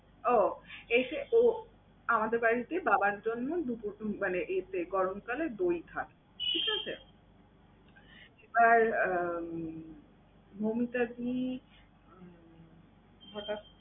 ওহ! এসে ও আমাদের বাড়িতেই বাবার জন্য দুপুর মানে এই এই গরমকালে দই খাবে, ঠিক আছে? এবার উম মৌমিতাদি উম হঠাৎ